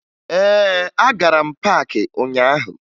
Ee, agara m paakị ụnyaahụ